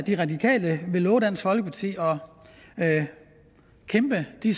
de radikale vil love dansk folkeparti at kæmpe de